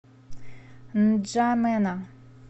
нджамена